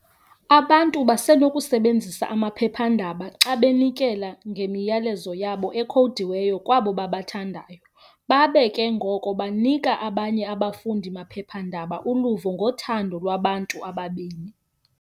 Abantu basenokusebenzisa amaphepha-ndaba xa benikela memiyalezo yabo ekhowudiweyo kwabo babathandayo, babe ke ngoko banika abanye abafundi bamaphepha-ndaba uluvo ngothando lwabantu ababini.